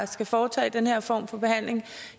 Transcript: skal foretage den her form for behandling